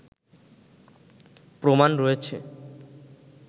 প্রমাণ রয়েছে